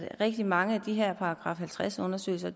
rigtig mange af de her § halvtreds undersøgelser